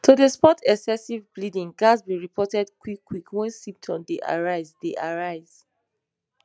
to dey spot excessive bleeding ghats be reported quick quick wen symptoms dey arise dey arise